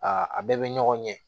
a bɛɛ bɛ ɲɔgɔn ɲɛ